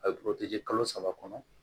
A bɛ kalo saba kɔnɔ